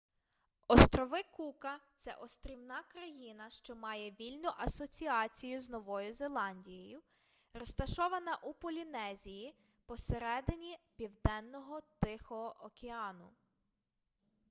острови кука це острівна країна що має вільну асоціацію з новою зеландією розташована у полінезії посереднині південного тихого океану